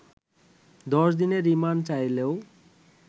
দশদিনের remand চাইলেও